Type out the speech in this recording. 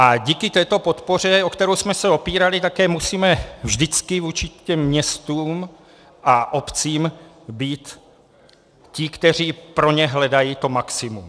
A díky této podpoře, o kterou jsme se opírali, také musíme vždycky vůči těm městům a obcím být ti, kteří pro ně hledají to maximum.